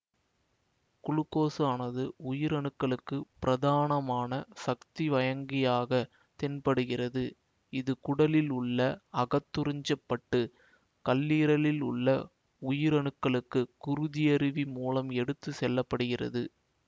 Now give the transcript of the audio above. glucose ஆனது உயிரணுக்களுக்குப் பிரதானமான சக்தி வயங்கியாகத் தென்படுகிறது இது குடலில் உள்ள அகத்துறிஞ்சப்பட்டு கல்லீரலில் உள்ள உயிரணுக்களுக்கு குருதியருவி மூலம் எடுத்து செல்ல படுகிறது